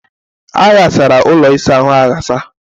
A ghasara ụlọ ịsa ahụ aghasa.